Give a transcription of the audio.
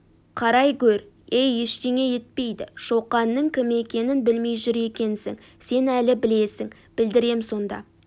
қарай гөр ей ештеңе етпейді шоқанның кім екенін білмей жүр екенсің сен әлі білесің білдірем сонда